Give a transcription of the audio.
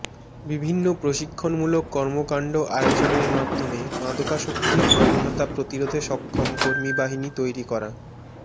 বিভিন্ন প্রশিক্ষণমূলক কর্মকান্ড আয়োজনের মাধ্যমে মাদকাসক্তির প্রবণতা প্রতিরোধে সক্ষম কর্মী বাহিনী তৈরি করা